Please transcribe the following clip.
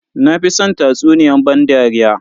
Na fi san tatsuniyan ban dariya.